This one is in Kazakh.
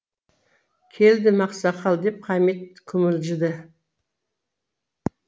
келдім ақсақал деп хамит күмілжіді